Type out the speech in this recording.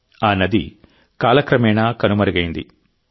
ఆ నది కాలక్రమేణా కనుమరుగైంది